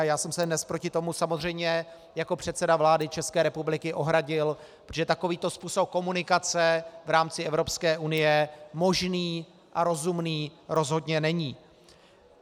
A já jsem se dnes proti tomu samozřejmě jako předseda vlády České republiky ohradil, protože takovýto způsob komunikace v rámci Evropské unie možný a rozumný rozhodně není.